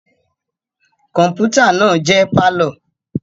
Kọmputa naa jẹ parlour